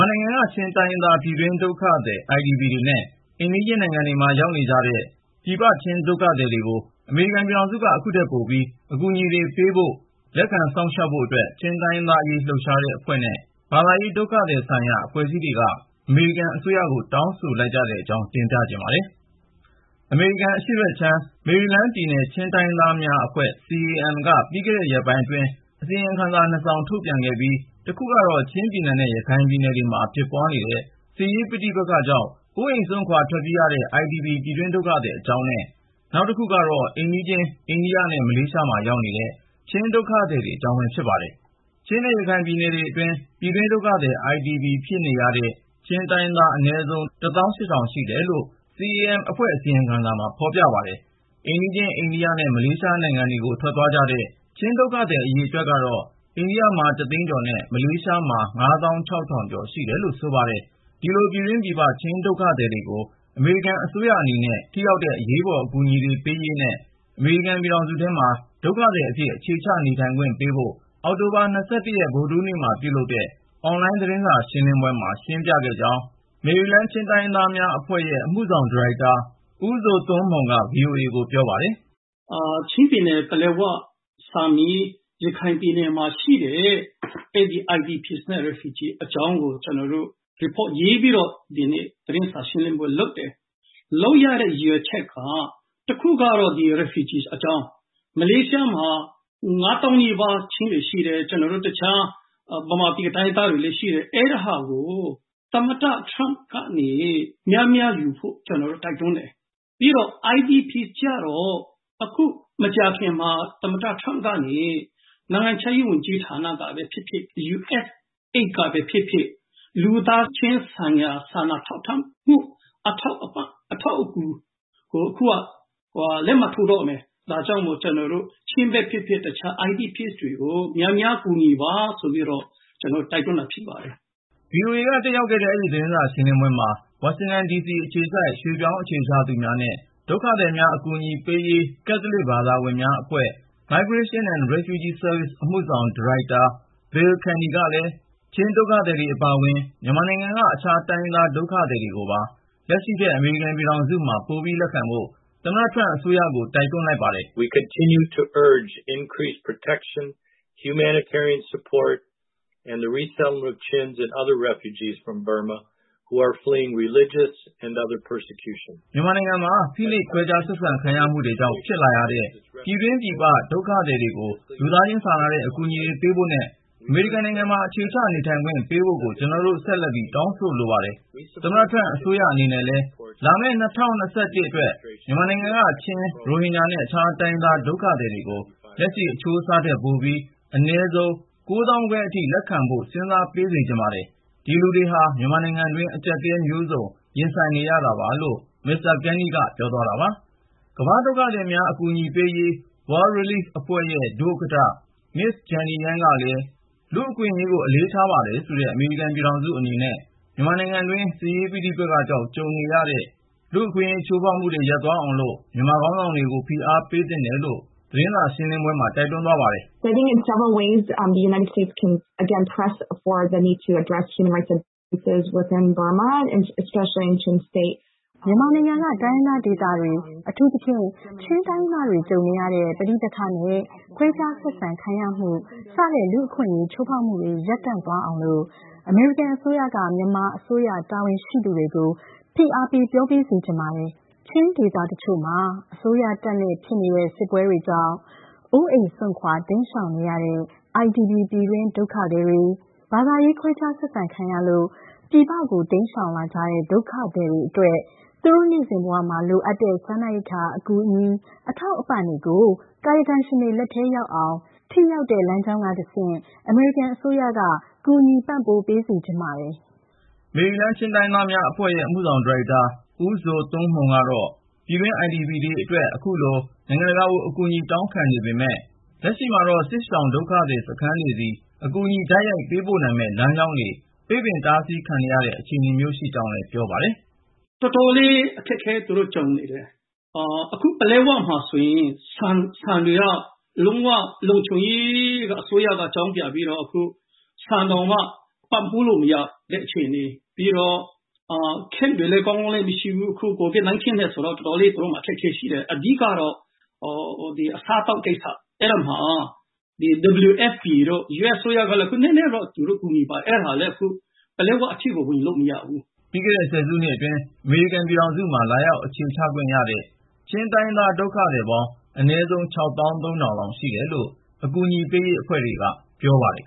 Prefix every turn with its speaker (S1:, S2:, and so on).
S1: ာနိုင်ငံက ချင်းတိုင်းရင်းသား ပြည်တွင်း ဒုက္ခသည် IDP တွေနဲ့ အိမ်နီးချင်း နိုင်ငံတွေမှာ ရောက်နေတဲ့ ပြည်ပရောက် ချင်း ဒုက္ခသည်တွေကို အမေရိကန်ပြည်ထောင်စုက အခုထက်ပိုပြီး အကူအညီတွေ ပေးဖို့ ၊ လက်ခံစောင့်ရှောက်ဖို့အတွက် ချင်းတိုင်းရင်းသားအရေး လှုပ်ရှားတဲ့အဖွဲ့နဲ့ ဘာသာရေး/ ဒုက္ခသည်ဆိုင်ရာ အဖွဲ့အစည်းတွေက အမေရိကန်အစိုးရကို တောင်းဆိုလိုက် ကြတဲ့အကြောင်း ကိုဉာဏ်ဝင်းအောင်က ဆက်သွယ်မေးမြန်း တင်ပြထားပါတယ်။ အမေရိကန်အရှေ့ဘက်ခြမ်း မေရီလန်းပြည်နယ် ချင်းတိုင်းရင်းသားများအဖွဲ့ ( CAM - Chin Association Maryland ) က ပြီးခဲ့တဲ့ ရက်ပိုင်းအတွင်း အစီရင်ခံစာ နှစ်စောင် ထုတ်ပြန်ခဲ့ပြီး တခုကတော့ ချင်းပြည်နယ်နဲ့ ရခိုင်ပြည်နယ်တွေမှာ ဖြစ်ပွားနေတဲ့ စစ်ရေးပဋိပက္ခကြောင့် အိုးအိမ်စွန့်ခွာ ထွက်ပြေးနေရတဲ့ IDP ပြည်တွင်းဒုက္ခသည် အကြောင်းနဲ့ နောက်တခုက အိမ်နီးချင်း အိန္ဒိယနဲ့ မလေးရှားမှာ ရောက်နေတဲ့ ချင်းဒုက္ခသည်တွေအကြောင်းပဲ ဖြစ်ပါတယ်။ ပြည်တွင်းဒုက္ခသည် IDP ဖြစ်နေရတဲ့ ချင်းတိုင်းရင်းသား အနည်းဆုံး လောက် ရှိတယ်လို့ CAM ရဲ့အစီရင်ခံစာမှာ ဖေါ်ပြပါတယ်။ အိမ်နီးချင်း အိန္ဒိယနဲ့ မလေးရှားနိုင်ငံတွေကို ထွက်ခွာသွားကြတဲ့ ချင်းဒုက္ခသည် အရေအတွက်ကတော့ အိန္ဒိယမှာ သိန်းကျော်နဲ့ မလေးရှားမှာ ကျော်ရှိတယ်လို့ ဆိုပါတယ်။ ဒီလို ပြည်တွင်း/ပြည်ပ ချင်းဒုက္ခသည်တွေကို အမေရိကန်အစိုးရအနေနဲ့ ထိရောက်တဲ့ အရေးပေါ် အကူအညီပေးရေးနဲ့ အမေရိကန်ပြည်ထောင်စုထဲမှာ ဒုက္ခသည်အဖြစ် အခြေချ နေထိုင်ခွင့်ပေးဖို့ အောက်တိုဘာ ဗုဒ္ဓဟူးနေ့မှာ ပြုလုပ်တဲ့ အွန်လိုင်း သတင်းစာရှင်းလင်းပွဲမှာ ရှင်းပြခဲ့ကြောင်း မေရီလန်းပြည်နယ် ချင်းတိုင်းရင်းသားများအဖွဲ့ရဲ့ အမှုဆောင် ဒါရိုက်တာ ဦးဇိုသွန်းမှုန်က VOA ကိုပြောပါတယ်
S2: ။ “ ချင်းပြည်နယ်၊ ပလက်ဝ၊ ဆာမီးမှာရှိတဲ့ အဲဒီ IDP နဲ့ Refugee အကြောင်းကို ကျနော် Report ရေးပြီးတော့ ဒီနေ့ သတင်းစာရှင်းလင်းပွဲလုပ်ပါတယ်။ လုပ်ရတဲ့ ရည်ရွယ်ချက်က တခုကတော့ ဒီ Refugee အကြောင်း ။ မလေးရှားမှာ ၅ သောင်းနီးပါး ချင်းတွေရှိတယ်။ ကျနော်တို့ တခြား မြန်မာပြည်က တိုင်းရင်းသားတွေလည်း ရှိတယ်။ အဲဒါကို သမ္မတ Trump ကနေ များများယူဖို့ ကျနော်တို့ တိုက်တွန်းတယ်။ ပြီးတော့ IDP ကျတော့ အခု မကြာခင်မှာ သမ္မတ Trump ကနေ နိုင်ငံခြားရေး ဝန်ကြီးဌာနကပဲ ဖြစ်ဖြစ် USAID ကပဲ ဖြစ်ဖြစ် လူသားချင်းစာနာထောက်ထားမှု အထောက်အပံ့ အထောက်အကူကို အခုက လက်မှတ်ထိုးတော့မယ်။ ဒါကြောင့်မို့ ချင်းပဲဖြစ်ဖြစ် တခြား IDP တွေကို များများ ကူညီပါဆိုပြီးတော့ ကျနော်တို့ တိုက်တွန်းတာဖြစ်ပါတယ်။” VOA က
S1: တက်ရောက်ခဲ့တဲ့ အဲဒီ သတင်းစာ ရှင်းလင်းပွဲမှာ ဝါရှင်တန်ဒီစီ အခြေစိုက် ရွှေ့ပြောင်းအခြေချသူများနဲ့ ဒုက္ခသည်များ အကူအညီပေးရေး ကက်သလစ် ဘာသာဝင်များအဖွဲ့ ( Migration and Refugee Services) အမှုဆောင်ဒါရိုက်တာ Bill Canny ကလည်း ချင်းဒုက္ခသည်တွေအပါအဝင် မြန်မာနိုင်ငံက အခြားတိုင်းရင်းသား ဒုက္ခသည်တွေကိုပါ လက်ရှိထက် အမေရိကန် ပြည်ထောင်စုမှာ ပိုလက်ခံဖို့ သမ္မတထရမ့် အစိုးရကို တိုက်တွန်းလိုက်ပါတယ်။ “ မြန်မာနိုင်ငံမှာ ဖိနှိပ် ခွဲခြားဆက်ဆံခံရမှုတေ ွကြောင့် ဖြစ်လာရတဲ့ ပြည်တွင်းပြည်ပရောက် ဒုက္ခသည်တွေကို လူသားချင်းစာနာတဲ့ အကူအညီတွေ ပေးဖို့နဲ့ အမေရိကန်နိုင်ငံမှာ အခြေချ နေထိုင်ခွင့် ပေးဖို့ကို ကျနော်တို့ ဆက်လက်ပြီး တောင်းဆိုလိုပါတယ်။ သမ္မတ ထရမ့်အစိုးရအနေနဲ့လည်း လာမယ့် ၂၀၂၁ အတွက် မြန်မာနိုင်ငံအပါအဝင် တကမ္ဘာလုံးက ဒုက္ခသည် အရေအတွက်ကို လက်ရှိထက် ပိုပြီး အနည်းဆုံး အထိ လက်ခံပေး စေချင်ပါတယ်။ ဒီလူတွေဟာ မြန်မာနိုင်ငံတွင်းမှာ အကြပ်အတည်း မျိုးစုံကို ရင်ဆိုင်နေရတာပါ” ကမ္ဘာ့ ဒုက္ခသည်များ အကူအညီပေးရေး World Relief အဖွဲ့ရဲ့ ဒုဥက္ကဌ Ms. Jenny Yang ကလည်း လူ့အခွင့်အရေးကို အလေးထားပါတယ်ဆိုတဲ့ အမေရိကန် ပြည်ထောင်စုအနေနဲ့ မြန်မာနိုင်ငံတွင်း စစ်ရေးပဋိပက္ခကြောင့် ကြုံနေရတဲ့ လူ့အခွင့်အရေး ချိုးဖေါက်မှုတွေ ရပ်တန့်သ ွားအောင်လို့ မြန်မာခေါင်းဆောင်တွေကို ဖိအားပေးသင့်တယ်လို့ အွန်လိုင်း သတင်းစာရှင်းပွဲမှာ ပြောသွားပါတယ်။ “မြန်မာ
S3: နိုင်ငံက တိုင်းရင်းသားဒေသတွေ - အထူးသဖြင့် ချင်းတိုင်းရင်းသားတွေ ကြုံနေရတဲ့ ပဋိပက္ခနဲ့ ခွဲခြားဆက်ဆံ ခံရမှု စတဲ့ လူ့အခွင့်အရေး ချိုးဖေါက်မှုတွေ ရပ်တန့်သွားအောင်လို့ အမေရိကန်အစိုးရက မြန်မာအစိုးရ တာဝန်ရှိသူတွေကို ဖိအားပေး ပြော ပေးစေချင်ပါတယ်။ ချင်း ဒေသတချို့မှာ အစိုးရတပ်နဲ့ ဖြစ်နေတဲ့ စစ်ပွဲ တွေကြောင့် အိုးအိမ်စွန့်ခွာ တိမ်းရှောင်နေရတဲ့ IDP ပြည်တွင်းဒုက္ခသည်တေ ွ ၊ ဘာသာရေး ခွဲခြား ဆက်ဆံခံရလို့ ပြည်ပကို တိမ်းရှောင်လာကြတဲ့ ဒုက္ခသည်တေ ွအတ ွက် သူတို့ နေ့စဉ်ဘဝမှာ လိုအပ်နေတဲ့စားနပ်အကူအညီ အထောက်အပံ့တွေကို ကာယကံရှင်တွေ လက်ထဲ ရောက်အောင် ၊ ထိရောက်တဲ့ လမ်းကြောင်းကတဆင့် အမေရိကန် အစိုးရက ကူညီပံ့ပိုး ပေးစေချင်ပါတယ်။
S1: ” မေရီလန်း ချင်းတိုင်းရင်းသားများအဖွဲ့ရဲ့ အမှုဆောင် ဒါရိုက်တာ ဦးဇိုသွန်းမှုန်က တော့ ပြည်တွင်း IDP တွေအတွက် အခုလို နိုင်ငံတကာကို အကူအညီတောင်းခံနေပေမယ့် လက်ရှိမှာတော့ စစ်ရှောင်ဒုက္ခသည်စခန်းတွေဆီ အကူအညီ တိုက်ရိုက်ပေးပို့နိုင်မယ့် လမ်းကြောင်းတွေ ပိတ်ပင်တားဆီးခံ
S2: ရတဲ့ အခြေအနေမျိုးရှိကြောင်း ရှင်းပြပါတယ်။ “ တော်တော်လေး အခက်အခဲ သူတို့ ကြုံနေတယ်။ အခု ပလက်ဝမှာဆိုရင် ဆန်တွေက လုံး၀ လုံခြုံကို အစိုးရက အကြောင်းပြပြီးတော့ အခု ဆန်တောင်မှာ ပံ့ပိုးလို့မရ ဖြစ်နေတဲ့အခြေအနေ ပြီးတော့ Camp တွေလည်း ကောင်းကောင်းမရှိဘူး COVID-19 ကြောင့်မို့ သူတို့မှာတော်တော်လေး အခက်အခဲရှိတယ်။ အဓိကတော့ အစားအသောက်ကိစ္စ ။ အဲဒီမှာ WFP တို့ US အစိုးရကလည်း နည်းနည်းကူညီပါတယ် အဲဒါလည်း ပလက်၀ အထိက
S1: ို ဝင်လို့မရဘူး” ပြီးခဲ့တဲ့ ဆယ်စုနှစ်အတွင်း အမေရိကန် ပြည်ထောင်စုမှာ လာရောက် အခြေချခွင့် ရှိတဲ့ ချင်းတိုင်းရင်းသား ဒုက္ခသည် ပေါင်း အနည်းဆုံး ( ၆ သောင်း ၃ ထောင်)လောက် ရှိတယ်လို့ အကူအညီပေးရေး အဖွဲ့တွေက ပြောပါတယ်